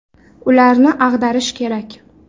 Ularni ag‘darish kerak.